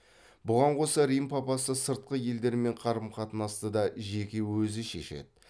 бұған қоса рим папасы сыртқы елдермен қарым қатынасты да жеке өзі шешеді